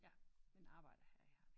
Ja men arbejder her i Herning